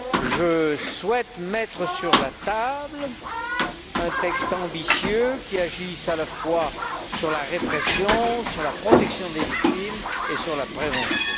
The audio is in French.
Je souhaite mettre sur la table un texte ambitieux qui agisse à la fois sur la répression, sur la protection des victimes et sur la prévention.